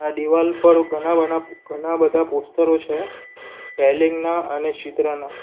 દિવાલ પર ઘણા બના ઘણા બધા પોસ્ટરો છે સ્પેલિંગ ના અને શીત્રાના.